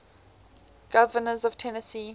governors of tennessee